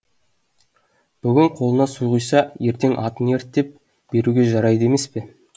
бүгін қолына су құйса ертең атын ерттеп беруге жарайды емес пе